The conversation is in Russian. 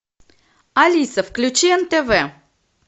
алиса включи нтв